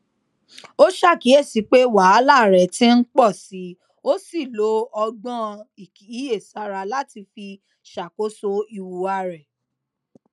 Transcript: ó ṣàkíyèsí pé wàhálà rẹ ti n pọ síi ó sì lo ọgbọn ìkíyèsára láti fi ṣàkóso ìhùwà rẹ